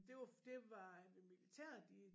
Det var det var ved militæret de